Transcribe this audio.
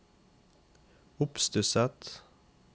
oppstusset